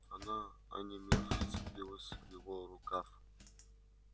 она онемев вцепилась в его рукав